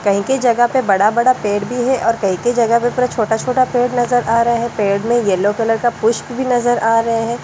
कई-कई जगह पे बड़ा-बड़ा पेड़ भी है और कई-कई जगह पर छोटा-छोटा पेड़ नजर आ रहा है पेड़ में येलो कलर का पुष्प भी नजर आ रहे हैं।